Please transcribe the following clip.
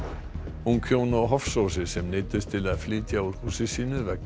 ung hjón á Hofsósi sem neyddust til að flytja úr húsi sínu vegna